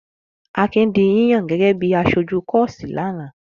Akin di yíyàn gẹ́gẹ́ bí i aṣojú kọ́ọ́sì lánàá.